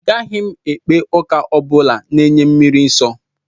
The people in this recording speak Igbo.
Agaghị m ekpe ụka ọ bụla na-enye mmiri nsọ